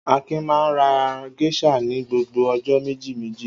Akin máa ń ra géíṣà ní gbogbo ọjọ́ méjìméjì.